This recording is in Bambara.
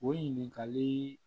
O ɲininkali